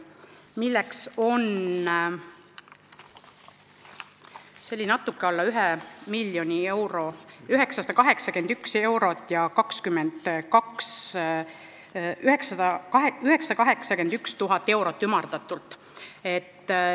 See on natuke alla ühe miljoni euro, ümardatult 981 000 eurot.